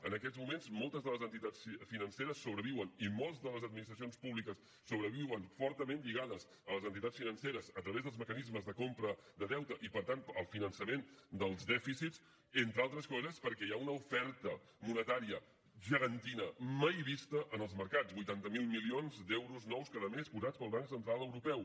en aquests moments moltes de les entitats financeres sobreviuen i moltes de les administracions públiques sobreviuen fortament lligades a les entitats financeres a través dels mecanismes de compra de deute i per tant al finançament dels dèficits entre altres coses perquè hi ha una oferta monetària gegantina mai vista en els mercats vuitanta miler milions d’euros nous cada mes posats pel banc central europeu